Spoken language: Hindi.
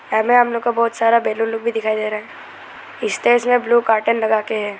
यहां में हम लोग को बहोत सारा बैलून लोग भी दिखाई दे रहा है स्टेज में ब्लू कार्टन लगाके हैं।